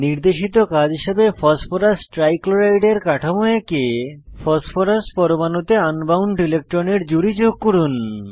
নির্দেশিত কাজ হিসাবে ফসফরাস ট্রাইক্লোরাইডের কাঠামো এঁকে ফসফরাস পরমাণুতে আন বাউন্ড ইলেকট্রনের জুড়ি যোগ করুন